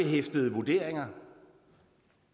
de studerende